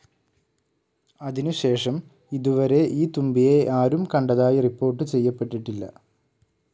അതിനു ശേഷം ഇതുവരെ ഈ തുമ്പിയെ ആരും കണ്ടതായി റിപ്പോർട്ട്‌ ചെയ്യപ്പെട്ടിട്ടില്ല.